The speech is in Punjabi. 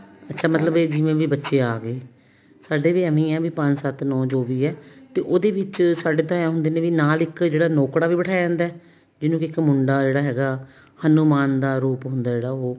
ਮਤਲਬ ਜਿੰਨੇ ਵੀ ਬੱਚੇ ਆਗੇ ਸਾਡੇ ਵੀ ਏਵੇਂ ਆ ਪੰਜ ਸੱਤ ਨੋ ਜੋ ਵੀ ਹੈ ਤੇ ਉਹਦੇ ਵਿੱਚ ਸਾਡੇ ਤਾਂ ਏਂ ਹੁੰਦੇ ਵੀ ਨਾਲ ਇੱਕ ਨੋਕੜਾ ਵੀ ਬਠਾਇਆ ਜਾਂਦਾ ਜਵੇਂ ਕੀ ਇੱਕ ਮੁੰਡਾ ਜਿਹੜਾ ਹੈਗਾ ਹਨੁਮਾਨ ਦਾ ਰੂਪ ਹੁੰਦਾ ਜਿਹੜਾ ਉਹ